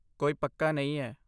ਕੋਈ ਪੱਕਾ ਨਹੀਂ ਹੈ।